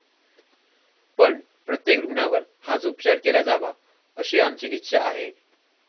पण, प्रत्येक रुग्णावर हाच उपचार केला जावा अशी आमची इच्छा आहे.